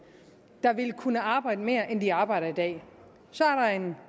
der vil kunne arbejde mere end de arbejder i dag så er der en